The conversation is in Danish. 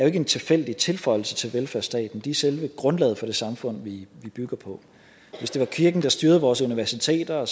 ikke en tilfældig tilføjelse til velfærdsstaten de er selve grundlaget for det samfund vi bygger på hvis det var kirken der styrede vores universiteter